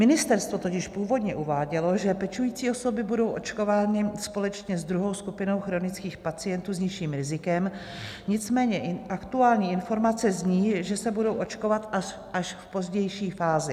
Ministerstvo totiž původně uvádělo, že pečující osoby budou očkovány společně s druhou skupinou chronických pacientů s nižším rizikem, nicméně aktuální informace zní, že se budou očkovat až v pozdější fázi.